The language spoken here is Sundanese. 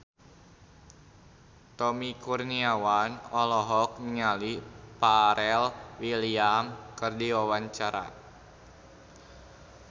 Tommy Kurniawan olohok ningali Pharrell Williams keur diwawancara